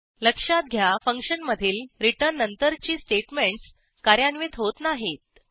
लक्षात घ्या फंक्शनमधील रिटर्न नंतरची स्टेटमेंटस कार्यान्वित होत नाहीत